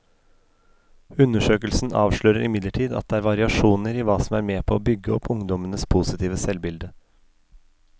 Undersøkelsen avslører imidlertid at det er variasjoner i hva som er med på å bygge opp ungdommenes positive selvbilde.